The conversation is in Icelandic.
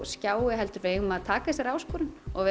skjái heldur eigum við að taka þessari áskorun og